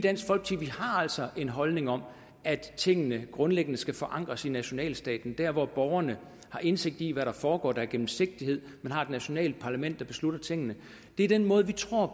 altså en holdning om at tingene grundlæggende skal forankres i nationalstaten hvor borgerne har indsigt i hvad der foregår og der er gennemsigtighed og man har et nationalt parlament der beslutter tingene det er den måde vi tror